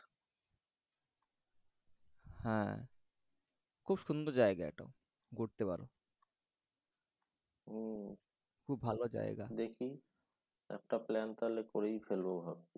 হ্যাঁ খুব সুন্দর জায়গা এটা। ঘুরতে পারো। হম খুব ভালো জায়গা। দেখি একটা plan তাহলে করেই ফেলব ভাবছি।